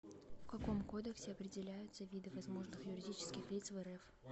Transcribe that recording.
в каком кодексе определяются виды возможных юридических лиц в рф